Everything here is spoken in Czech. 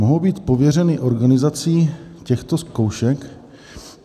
Mohou být pověřeny organizací těchto zkoušek..."